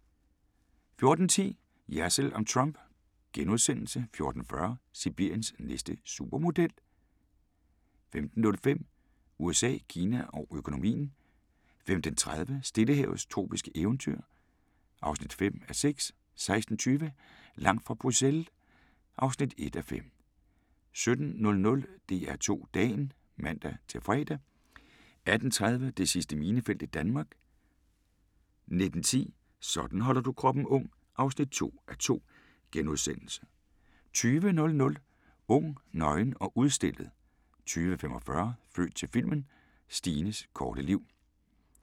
14:10: Jersild om Trump * 14:40: Sibiriens næste supermodel 15:05: USA, Kina og økonomien 15:30: Stillehavets tropiske eventyr (5:6) 16:20: Langt fra Bruxelles (1:5) 17:00: DR2 Dagen (man-fre) 18:30: Det sidste minefelt i Danmark 19:10: Sådan holder du kroppen ung (2:2)* 20:00: Ung, nøgen og udstillet 20:45: Født til filmen – Stines korte liv